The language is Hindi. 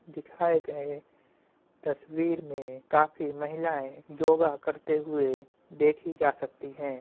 दिखाए गए तस्वीर में काफी महिलाँए योगा करते हुए देखि जा सकती हैं।